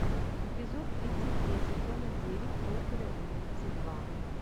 эпизод тридцать три сезона девять профиля убийца два